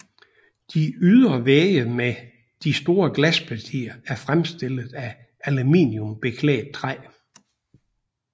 De ydre vægge med de store glaspartier er fremstillet af aluminiumbeklædt træ